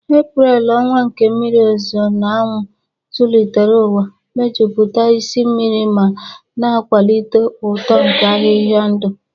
Eprel, ọnwa nke mmiri ozuzo na anwụ, zụlitere ụwa, mejupụta isi mmiri ma na-akwalite uto nke ahịhịa ndụ